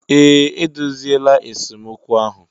Ee, edoziela esemokwu ahụ